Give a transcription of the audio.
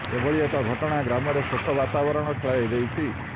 ଏଭଳି ଏକ ଘଟଣା ଗ୍ରାମରେ ଶୋକର ବାତାବରଣ ଖେଳାଇ ଦେଇଛି